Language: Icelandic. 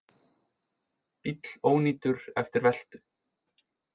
Bíll ónýtur eftir veltu